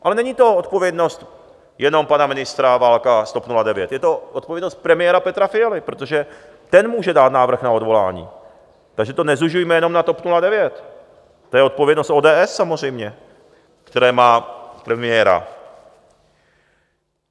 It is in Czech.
Ale není to odpovědnost jenom pana ministra Válka z TOP 09, je to odpovědnost premiéra Petra Fialy, protože ten může dát návrh na odvolání, takže to nezužujme jenom na TOP 09, to je odpovědnost ODS samozřejmě, které má premiéra.